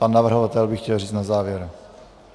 Pan navrhovatel by chtěl říct na závěr.